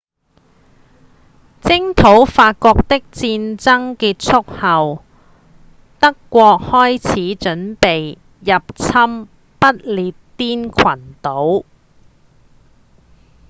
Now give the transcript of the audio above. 征討法國的戰爭結束後德國開始準備入侵不列顛群島